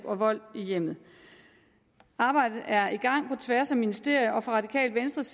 og vold i hjemmet arbejdet er i gang på tværs af ministerierne og fra radikale venstres